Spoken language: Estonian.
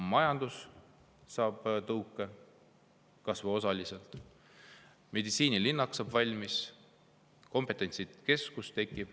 Majandus saab tõuke, kas või osaliselt, meditsiinilinnak saab valmis ja tekib kompetentsikeskus.